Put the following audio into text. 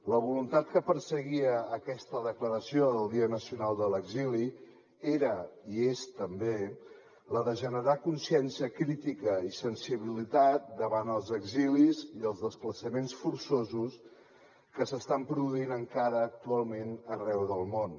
la voluntat que perseguia aquesta declaració del dia nacional de l’exili era i és també la de generar consciència crítica i sensibilitat davant els exilis i els desplaçaments forçosos que s’estan produint encara actualment arreu del món